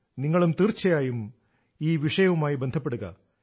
നിങ്ങളും തീർച്ചയായും ഈ വിഷയവുമായി ബന്ധപ്പെടുക